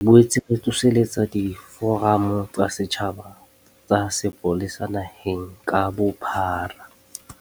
Re boetse re tsoseletsa diforamo tsa setjhaba tsa sepolesa naheng ka bophara.